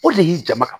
O de y'i jama kan